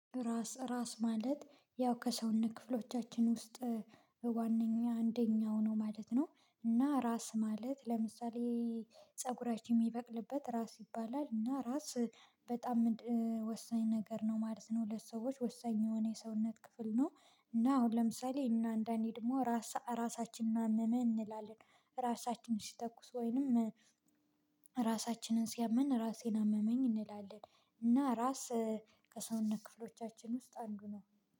ራስ ራስ ማለት ያው ከሰውነት ክፍሎቻችን ውስጥ ዋናኛ አንደኛው ነው ማለት ነው። እና ራስ ማለት ለምሳሌ ፀጉራችን የሚበቅልበት ራስ ይባላል እና ራስ በጣም ወሳኝ ነገር ነው ማለት ነው ለሰዎች ወሳኝ የሆነ የሰውነት ክፍል ነው። እና ለምሳሌ እና አንዳንዴ ደግሞ ራሳ ራሳችንን እመመኝ እንላለን ራሳችንን ሲያተኩስ ወይንም ራሳችንን ሲያመን ራሴን አመመኝ እንላለን። እና ራስ ከሰውነት ክፍሎቻችን ውስጥ አንዱ ነው